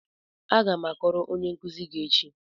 Aga m akọrọ onye nkuzi gị echi.